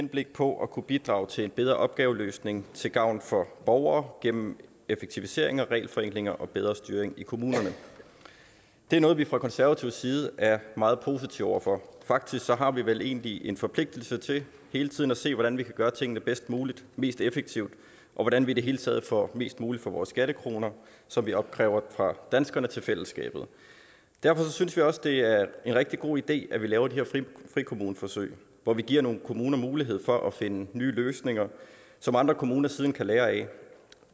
henblik på at kunne bidrage til en bedre opgaveløsning til gavn for borgere gennem effektiviseringer regelforenklinger og bedre styring i kommunerne det er noget vi fra konservatives side er meget positive over for faktisk har vi vel egentlig en forpligtelse til hele tiden at se hvordan vi kan gøre tingene bedst muligt mest effektivt og hvordan vi i det hele taget får mest muligt for vores skattekroner som vi opkræver fra danskerne til fællesskabet derfor synes vi også det er en rigtig god idé at vi laver de her frikommuneforsøg hvor vi giver nogle kommuner mulighed for at finde nye løsninger som andre kommuner siden kan lære af